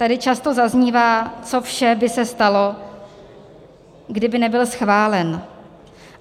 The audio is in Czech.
Tady často zaznívá, co vše by se stalo, kdyby nebyl schválen.